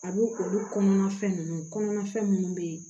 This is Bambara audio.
A b'o olu kɔnɔna fɛn ninnu kɔnɔna fɛn minnu bɛ yen